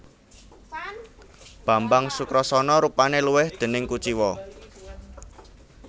Bambang Sukrasana rupane luwih déning kuciwa